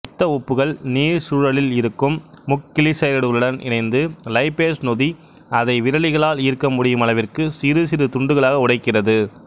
பித்த உப்புகள் நீர்ச்சூழலில் இருக்கும் முக்கிளிசரைடுகளுடன் இணைந்து லைப்பேசு நொதி அதை விரலிகளால் ஈர்க்கமுடியுமளவிற்கு சிறுசிறு துண்டுகளாக உடைக்கிறது